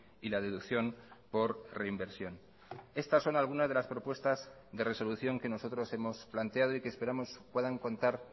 y la deducción por reinversión estas son algunas de las propuestas de resolución que nosotros hemos planteado y que esperamos puedan contar